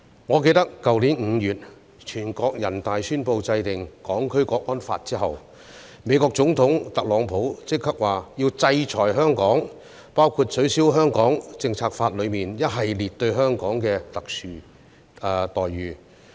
我記得去年5月全國人大宣布制定《香港國安法》後，美國總統特朗普立即表示要制裁香港，包括取消《美國―香港政策法》中一系列給予香港的特殊待遇。